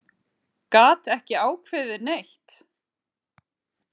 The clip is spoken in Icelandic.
Gat ekki ákveðið neitt.